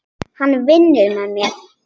Hann vinnur með mér.